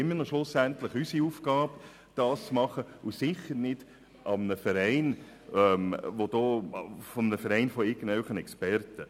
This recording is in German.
Dies ist schlussendlich immer noch unsere Aufgabe und sicher nicht diejenige eines Vereins von irgendwelchen Experten.